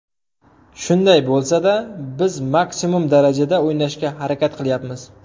Shunday bo‘lsada biz maksimum darajada o‘ynashga harakat qilyapmiz.